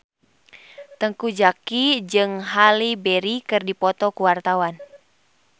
Teuku Zacky jeung Halle Berry keur dipoto ku wartawan